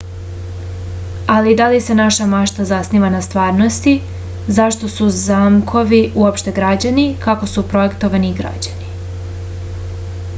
ali da li se naša mašta zasniva na stvarnosti zašto su zamkovi uopšte građeni kako su projektovani i građeni